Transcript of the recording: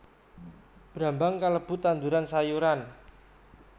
Brambang kalebu tanduran sayuran